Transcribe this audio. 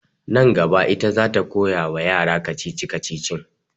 Nan gaba ita za ta koya wa yara kacici-kacicin